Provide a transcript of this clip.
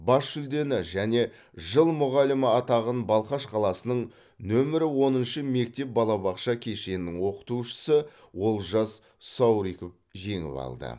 бас жүлдені және жыл мұғалімі атағын балқаш қаласының нөмірі оныншы мектеп балабақша кешенінің оқытушысы олжас сауриков жеңіп алды